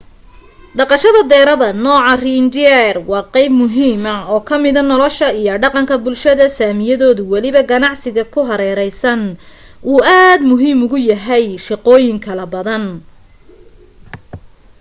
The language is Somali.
dhaqashada deerada nooca reindeer waa qeyb muhiima oo kamida nolasha iyo dhaqanka bulshada sami iyado waliba ganacsiga ku hareereysan uu aad muhiim ugu yahay shaqooyin kalo badan